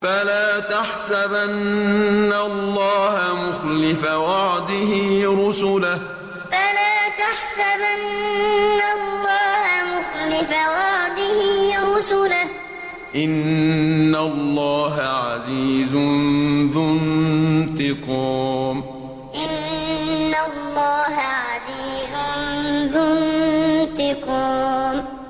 فَلَا تَحْسَبَنَّ اللَّهَ مُخْلِفَ وَعْدِهِ رُسُلَهُ ۗ إِنَّ اللَّهَ عَزِيزٌ ذُو انتِقَامٍ فَلَا تَحْسَبَنَّ اللَّهَ مُخْلِفَ وَعْدِهِ رُسُلَهُ ۗ إِنَّ اللَّهَ عَزِيزٌ ذُو انتِقَامٍ